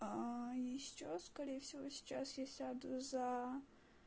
и сейчас сейчас скорее всего сейчас я сяду за